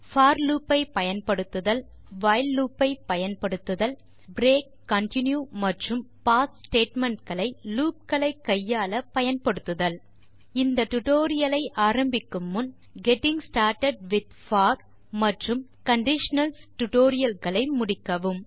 போர் loopஐ பயன்படுத்துதல் வைல் loopஐ பயன்படுத்துதல் பிரேக் கன்டின்யூ மற்றும் பாஸ் statementகளை லூப் களை கையாள பயன்படுத்துதல் இந்த டியூட்டோரியல் ஐ ஆரம்பிக்கும் முன் கெட்டிங் ஸ்டார்ட்டட் வித் போர் மற்றும் கண்டிஷனல்ஸ் டுடோரியல்களை முடிக்கவும்